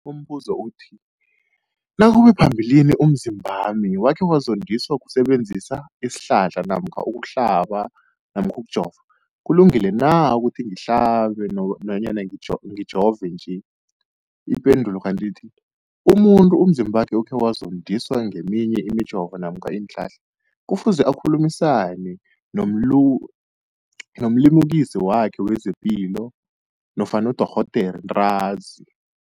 Umbuzo, nakube phambilini umzimbami wakhe wazondiswa kusebenzisa isihlahla namkha ukuhlaba namkha ukujova, kulungile na ukuthi ngihlabe, ngijove nje? Ipendulo, umuntu umzimbakhe okhe wazondiswa ngeminye imijovo namkha iinhlahla kufuze akhulumisane nomlimukisi wakhe wezepilo nofana nodorhoderakhe ntanzi.